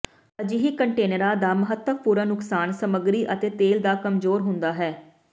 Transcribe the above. ਅਜਿਹੇ ਕੰਟੇਨਰਾਂ ਦਾ ਮਹੱਤਵਪੂਰਨ ਨੁਕਸਾਨ ਸਮੱਗਰੀ ਅਤੇ ਤੋਲ ਦਾ ਕਮਜ਼ੋਰ ਹੁੰਦਾ ਹੈ